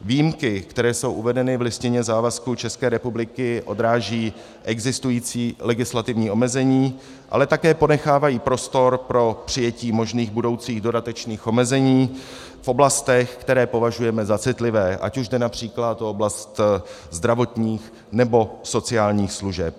Výjimky, které jsou uvedeny v listině závazků České republiky, odrážejí existující legislativní omezení, ale také ponechávají prostor pro přijetí možných budoucích dodatečných omezení v oblastech, které považujeme za citlivé, ať už jde například o oblast zdravotních nebo sociálních služeb.